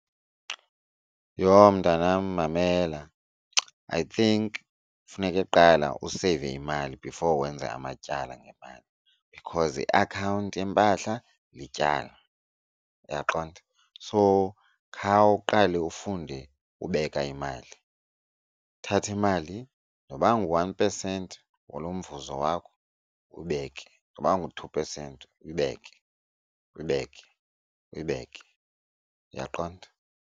Yho, mntanam mamela. I think funeke qala useyive imali before wenze amatyala ngemali, because iakhawunti yempahla lityala. Uyaqonda? So, khawuqale ufunde ubeka imali uthathe imali noba ngu-one percent walo mvuzo wakho uyibeke, noba ngu-two percent uyibeke uyibeke uyibeke. Uyaqonda?